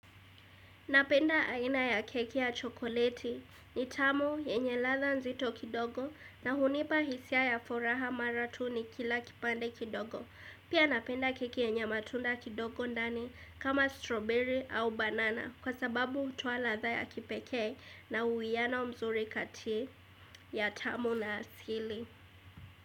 Napenda aina ya keki ya chokoleti ni tamu yenye ladha nzito kidogo na hunipa hisia ya furaha mara tu nikila kipande kidogo. Pia napenda keki yenye matunda kidogo ndani kama strawberry au banana kwa sababu hutoa ladha ya kipekee na uiyano mzuri kati ya tamu na asili.